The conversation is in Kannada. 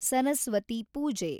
ಸರಸ್ವತಿ ಪೂಜೆ